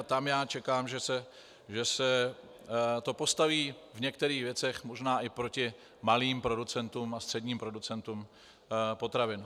A tam já čekám, že se to postaví v některých věcech možná i proti malým producentům a středním producentům potravin.